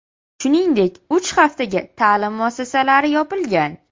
Shuningdek, uch haftaga ta’lim muassasalari yopilgan.